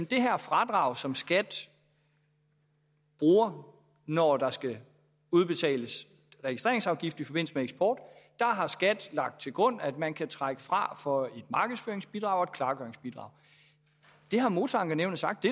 det her fradrag som skat bruger når der skal udbetales registreringsafgift i forbindelse med eksport har skat lagt til grund at man kan trække fra for et markedsføringsbidrag og et klargøringsbidrag det har motorankenævnet sagt